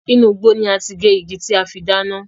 Inú igbó ni a ti gé igi tí a fi dáná.